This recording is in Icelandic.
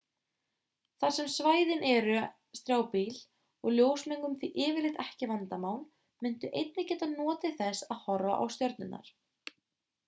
þar sem svæðin eru strjálbýl og ljósmengun því yfirleitt ekki vandamál muntu einnig geta notið þess að horfa á stjörnurnar